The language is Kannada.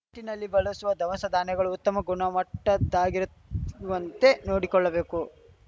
ಟಿನ್‌ನಲ್ಲಿ ಬಳಸುವ ದವಸಧಾನ್ಯಗಳು ಉತ್ತಮ ಗುಣಮಟ್ಟದ್ದಾಗಿರುತ್ ವಂತೆ ನೋಡಿಕೊಳ್ಳಬೇಕು